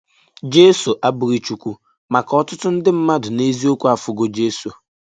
Jèsọ abụghị chụkwụ, màkà ọtụtụ ndị mmàdụ nà èzịọkwụ afụgọ jesọ.